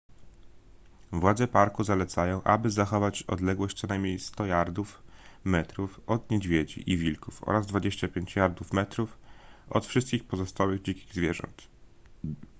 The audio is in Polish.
władze parku zalecają aby zachować odległość co najmniej 100 jardów/metrów od niedźwiedzi i wilków oraz 25 jardów/metrów od wszystkich pozostałych dzikich zwierząt!